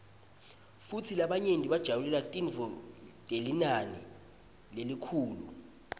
futsi labanye bajabulela tintfo telinani lelikhulu